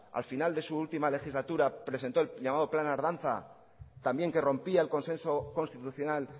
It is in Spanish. al final de su última legislatura presentó el llamado plan ardanza también que rompía el consenso constitucional